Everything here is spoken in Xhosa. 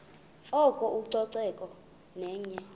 oko ucoceko yenye